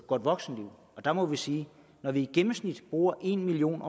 godt voksenliv der må vi sige at når vi i gennemsnit bruger en million